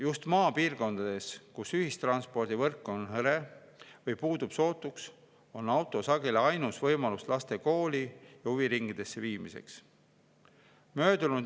Just maapiirkondades, kus ühistranspordivõrk on hõre või puudub sootuks, on auto sageli ainus võimalus laste kooli ja huviringidesse viimiseks.